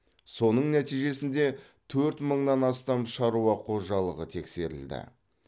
соның нәтижесінде төрт мыңнан астам шаруа қожалығы тексерілді